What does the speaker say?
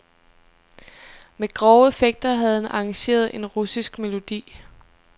Med grove effekter havde han arrangeret en russisk melodi.